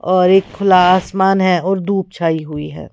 और एक खुला आसमान है और धूप छाई हुई है।